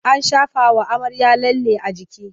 An shafawa amarya lalle a jiki.